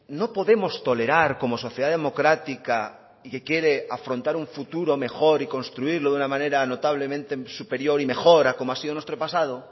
no podemos tolerar como sociedad democrática y que quiere afrontar un futuro mejor y construirlo de una manera notablemente superior y mejor a como ha sido nuestro pasado